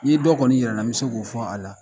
N'i ye dɔ kɔɔni yira an na n be se k'o fɔ a la